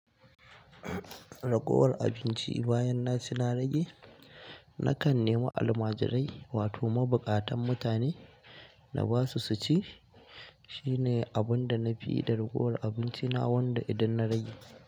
Ragowar abinci bayan na ci na rage, na kan nema almajirai wato mabukatan mutane na ba su su ci. Shine abunda na fiyi da ragowar abinci na wanda idan na rage.